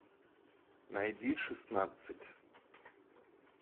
найди шестнадцать